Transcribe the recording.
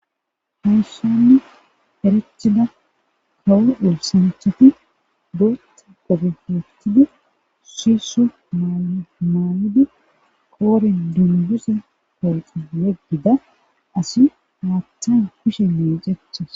hayssanne herecthida kawo wolsancthati goeta gobefetida siiso maalida qoorin dundusa kooxa leggida asi haattan kushe nee cechas